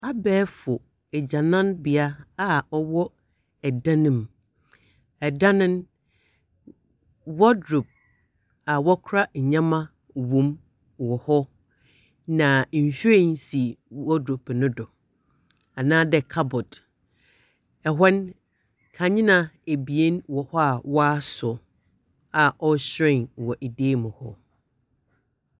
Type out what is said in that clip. Abɛɛfo agyananbea a ɔwɔ dan mu. Dan no, wardrobe a wɔkora ndzemba wɔ mu wɔ hɔ, na nhwiren si wardrobe no do, anaa dɛ cupboard. Ɛhɔ no kandzea wɔ hɔ a wɔasɔ a ɛrehyerɛn wɔ dan mu hɔ.